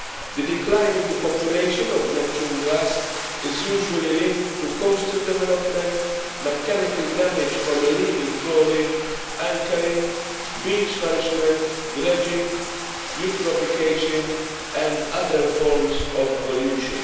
The decline in the population of Neptune grass is usually linked to coastal development, mechanical damage from illegal trawling, anchoring, beach nourishment, dredging, eutrophication and other forms of pollution.